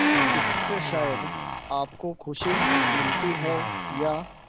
इससे शायद आपको खुशी मिलती है या